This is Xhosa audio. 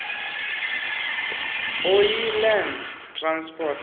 oyi land transport